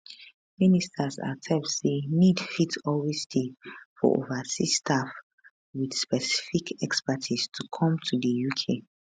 ministers accept say need fit always dey for overseas staff wit specific expertise to come to di uk